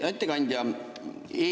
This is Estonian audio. Hea ettekandja!